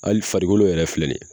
Ali farikolo yɛrɛ filɛ nin ye